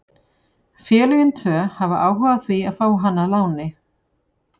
Félögin tvö hafa áhuga á því að fá hann á láni.